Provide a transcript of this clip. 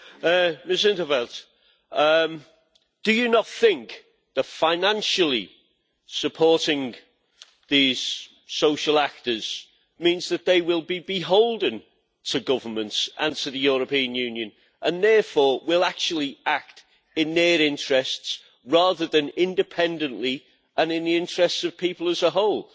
Ms in 't Veld, do you not think that financially supporting these social actors means that they will be beholden to governments and to the European Union, and therefore will actually act in their interests rather than independently and in the interests of people as a whole?